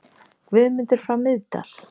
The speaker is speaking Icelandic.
Guðmundar frá Miðdal.